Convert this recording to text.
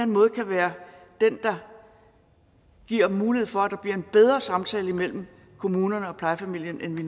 måde kan være den der giver mulighed for at der bliver en bedre samtale mellem kommunen og plejefamilien end vi